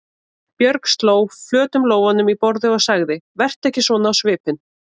Björg sló flötum lófunum í borðið og sagði: Vertu ekki svona á svipinn.